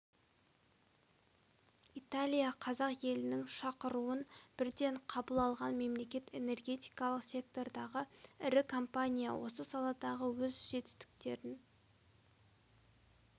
италия қазақ елінің шақыруын бірден қабыл алған мемлекет энергетикалық сектордағы ірі компания осы саладағы өз жетістіктерін